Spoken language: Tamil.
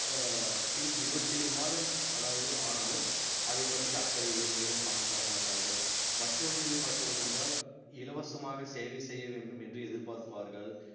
அஹ் பின் இருபத்தி ஏழு மாதம் அதாவது ஆனாலும் அதைப் பற்றிய அக்கறை இல்லை மேலும் பணம் தர மாட்டார்கள் மற்றொன்று பார்த்தீர்கள் என்றால் இலவசமாக சேவை செய்ய வேண்டும் என்று எதிர்பார்ப்பார்கள்